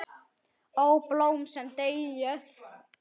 Ó, blóm sem deyið!